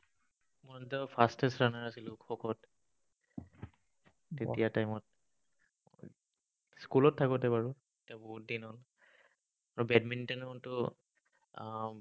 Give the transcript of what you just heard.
মই তেতিয়া fastest runner আছিলো, খোখোত। তেতিয়াৰ time ত। school ত থাকোতে বাৰু। এতিয়া, বহুত দিন হ'ল। আৰু badminton ততো উম